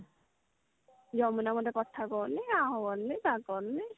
ଯମୁନା ମତେ କଥା କହୁନି ଆ କରୁନି ତା କରୁନି